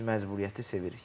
Biz məcburiyyəti sevirik.